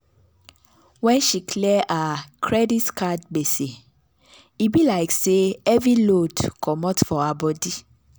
when she clear her credit card gbese e be like say heavy load comot for her body.